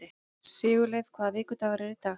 Sigurleifur, hvaða vikudagur er í dag?